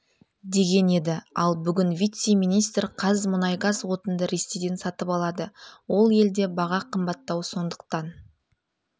деген еді ал бүгін вице-министр қазмұнайгаз отынды ресейден сатып алады ол елде баға қымбаттау сондықтан